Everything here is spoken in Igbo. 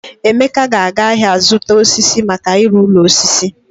Emeka ga-aga ahịa zụta osisi maka ịrụ ụlọ osisi.